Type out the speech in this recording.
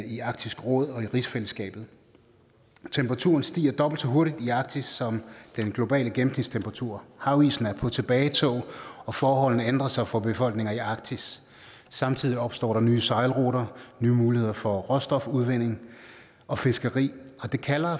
i arktisk råd og i rigsfællesskabet temperaturen stiger dobbelt så hurtigt i arktis som den globale gennemsnitstemperatur havisen er på tilbagetog og forholdene ændrer sig for befolkningerne i arktis samtidig opstår der nye sejlruter nye muligheder for råstofudvinding og fiskeri og det kalder